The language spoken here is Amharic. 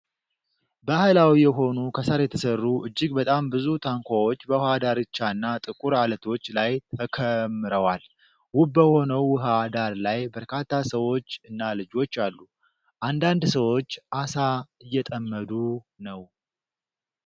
ባሕላዊ የሆኑ ከሳር የተሠሩ እጅግ በጣም ብዙ ታንኳዎች በውኃ ዳርቻና ጥቁር ዓለቶች ላይ ተከምረዋል። ውብ በሆነው የውኃ ዳር ላይ በርካታ ሰዎች እና ልጆች አሉ። አንዳንድ ሰዎች አሳ እየጠመዱ ነው።